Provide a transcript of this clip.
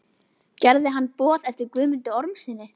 Gerði hann boð eftir Guðmundi Ormssyni.